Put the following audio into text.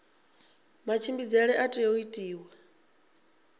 matshimbidzele a tea u itiwa